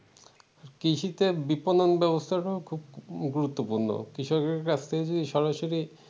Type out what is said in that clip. কৃষিতে বিপণন ব্যবস্থা খুব গুরুত্বপূর্ণ কৃষকের কাছ থেকে যদি সরাসরি ।